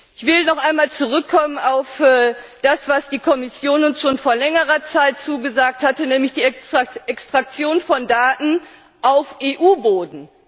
Ich will noch einmal zurückkommen auf das, was die Kommission uns schon vor längerer Zeit zugesagt hatte, nämlich die Extraktion von Daten auf EU Boden.